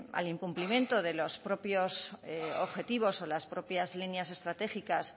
al incumplimiento de los propios objetivos o las propias líneas estratégicas